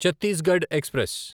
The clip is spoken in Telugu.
చత్తీస్గడ్ ఎక్స్ప్రెస్